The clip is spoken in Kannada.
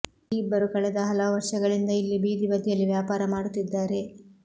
ಈ ಇಬ್ಬರು ಕಳೆದ ಹಲವು ವರ್ಷಗಳಿಂದ ಇಲ್ಲಿ ಬೀದಿ ಬದಿಯಲ್ಲಿ ವ್ಯಾಪಾರ ಮಾಡುತ್ತಿದ್ದಾರೆ